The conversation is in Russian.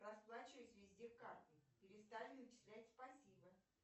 расплачиваюсь везде картой перестали начислять спасибо